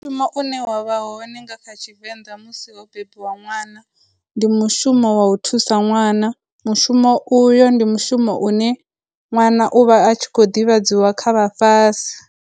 Mushumo une wa vha hone nga kha Tshivenḓa musi ho bebiwa ṅwana, ndi mushumo wa u thusa ṅwana, mushumo uyo ndi mushumo u ne ṅwana u vha a tshi khou ḓivhadziwa kha vhafhasi.